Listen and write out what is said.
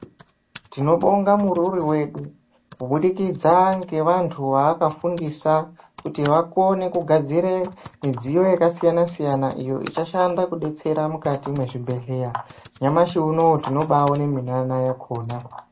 Tinobonga murori wedu kubudikidza ngevantu vavanofundisa kuti vakone kugadzira midziyo yakasiyana siyana iyo ichashanda kudetsera mukati mezvibhedhlera nyamashi unowu tinoona munana wakona.